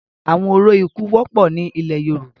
Awọn orȯ iku wọpọ ni ilẹ Yoruba